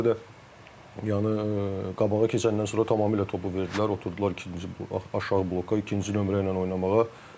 Bu dəfə də yəni qabağa keçəndən sonra tamamilə topu verdilər, oturdular ikinci aşağı bloka, ikinci nömrə ilə oynamağa.